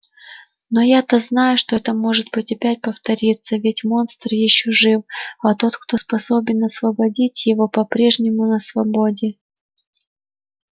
но я-то знаю что это может опять повториться ведь монстр ещё жив а тот кто способен освободить его по-прежнему на свободе